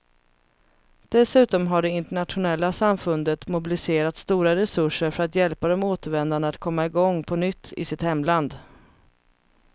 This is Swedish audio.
Dessutom har det internationella samfundet mobiliserat stora resurser för att hjälpa de återvändande att komma i gång på nytt i sitt hemland.